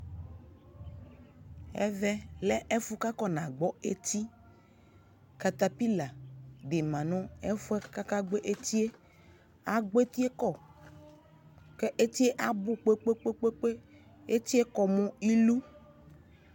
ɔvɛ lɛ ɛfʋ kakɔna gbɔ ɛtii (NA) dimanu ɛfʋɛ kakagbɔ etie agbɔ etiekɔ ka etie abu kpekpekpee etie kɔ mʋ ilʋʋ